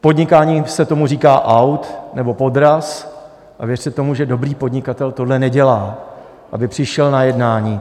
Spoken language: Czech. V podnikání se tomu říká aut nebo podraz, a věřte tomu, že dobrý podnikatel tohle nedělá, aby přišel na jednání...